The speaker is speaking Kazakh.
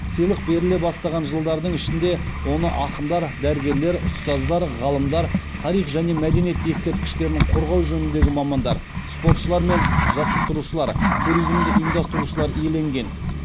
сыйлық беріле бастаған жылдардың ішінде оны ақындар дәрігерлер ұстаздар ғалымдар тарих және мәдениет ескерткіштерін қорғау жөніндегі мамандар спортшылар мен жаттықтырушылар туризмді ұйымдастырушылар иеленген